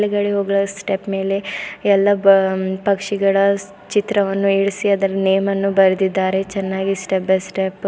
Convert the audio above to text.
ಮೇಲ್ಗಡೆ ಹೋಗುವ ಸ್ಟೆಪ್ ಮೇಲೆ ಎಲ್ಲಾ ಬಾ ಪಕ್ಷಿಗಳ ಚಿತ್ರವನ್ನು ಇಳ್ಸಿ ಅದರ ನೇಮನ್ನು ಬರ್ದಿದ್ದಾರೆ ಚೆನ್ನಾಗಿ ಸ್ಟೆಪ್ ಬೈ ಸ್ಟೆಪ್ಪು --